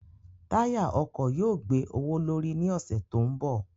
Táyà ọkọ̀ yóò gbé owó l'órí ní ọ̀sẹ̀ tó ń bọ̀.